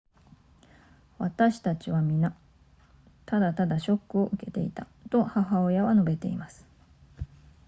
私たちは皆ただただショックを受けていたと母親は述べています